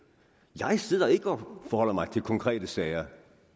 jeg sidder ikke og forholder mig til konkrete sager